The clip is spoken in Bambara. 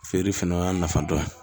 Feere fɛnɛ o y'a nafa dɔ ye